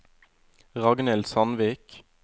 Ragnhild Sandvik